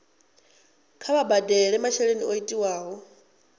kha vha badele masheleni o tiwaho